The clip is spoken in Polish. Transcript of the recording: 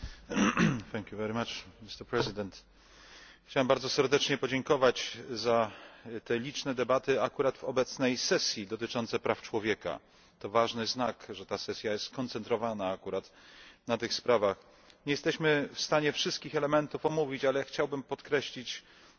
Panie Przewodniczący! Chciałbym bardzo serdecznie podziękować za te liczne debaty, akurat w obecnej sesji, dotyczące praw człowieka. To ważny znak, że ta sesja jest skoncentrowana akurat na tych sprawach. Nie jesteśmy w stanie omówić wszystkich elementów, ale chciałbym podkreślić